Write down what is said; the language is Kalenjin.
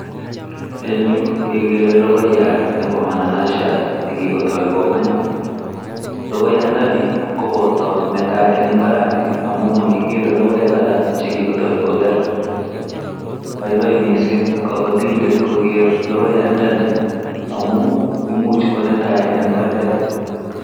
En yu kegere logoiyat nebo mananasiat nekigotai kokony logoiyandani koboto netai ing' mbarat ni amu makigere logoek alak chekigotoi koger, boiboi miising' kabatindet kogeer logoiyandani amu imuch konetai ing' mbaret